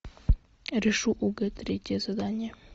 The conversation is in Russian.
решу огэ третье задание